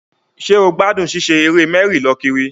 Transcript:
Ṣé o gbádùn ṣíṣe eré mẹ́rì-lọ-kiri?